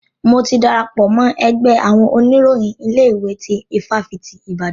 Mo ti darapọ̀ mọ́ ẹgbẹ́ àwọn oníròyìn ilé ìwé tí ifáfitì Ibadan.